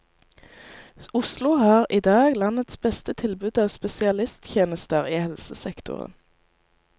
Oslo har i dag landets beste tilbud av spesialisttjenester i helsesektoren.